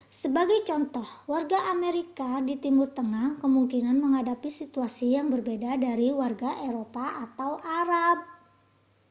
sebagai contoh warga amerika di timur tengah kemungkinan menghadapi situasi yang berbeda dari warga eropa atau arab